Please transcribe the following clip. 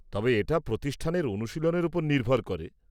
তবে, এটা প্রাতিষ্ঠানের অনুশীলনের উপর নির্ভর করে।